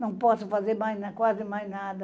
Não posso fazer mais quase mais nada.